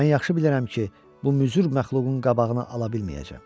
Mən yaxşı bilirəm ki, bu müzür məxluqun qabağını ala bilməyəcəm.